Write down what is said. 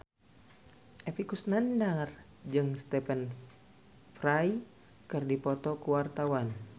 Epy Kusnandar jeung Stephen Fry keur dipoto ku wartawan